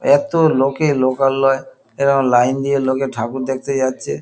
এতো লোকে লোকালয় এবং লাইন দিয়ে লোকে ঠাকুর দেখতে যাচ্ছে।